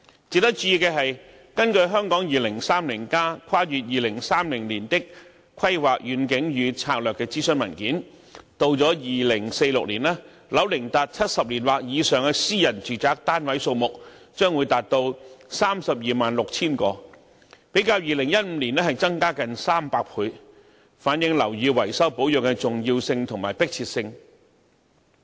值得注意的是，根據《香港 2030+： 跨越2030年的規劃遠景與策略》諮詢文件，到了2046年，樓齡達70年或以上的私人住宅單位數目將達到 326,000 個，比2015年增加近300倍，反映樓宇維修保養的重要性和迫切性。